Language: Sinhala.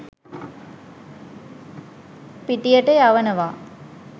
පිටියට යවනවා.